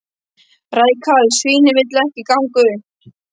Rækalls svínið vill ekki ganga upp